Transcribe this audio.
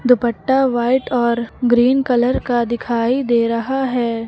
दुपट्टा white और green colour का दिखाई दे रहा है।